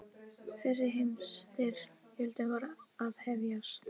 Fyrri heimsstyrjöldin var að hefjast.